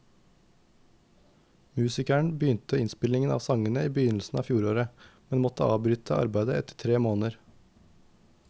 Musikeren begynte innspillingen av sangene i begynnelsen av fjoråret, men måtte avbryte arbeidet etter tre måneder.